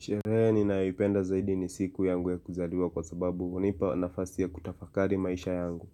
Sherehe ninayoipenda zaidi ni siku yangu ya kuzaliwa kwa sababu hunipa nafasi ya kutafakari maisha yangu.